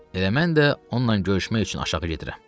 Elə mən də onunla görüşmək üçün aşağı gedirəm.